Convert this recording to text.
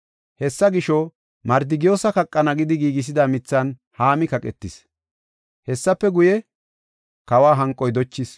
Hessa gisho, Mardikiyoosa kaqana gidi giigisida mithan Haami kaqetis. Hessafe guye, kawa hanqoy dochis.